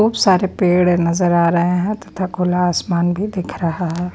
खूब सारे पेड़ नजर आ रहे हैं तथा खुला आसमान भी दिख रहा है।